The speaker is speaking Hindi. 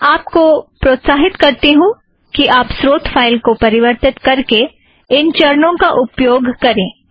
मैं आप को प्रोत्साहित करती हूँ कि आप स्रोत फ़ाइल को परिवर्तित करके इन चरणों का प्रयोग करें